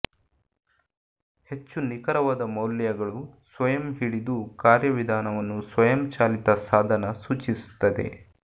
ಹೆಚ್ಚು ನಿಖರವಾದ ಮೌಲ್ಯಗಳು ಸ್ವಯಂ ಹಿಡಿದು ಕಾರ್ಯವಿಧಾನವನ್ನು ಸ್ವಯಂಚಾಲಿತ ಸಾಧನ ಸೂಚಿಸುತ್ತದೆ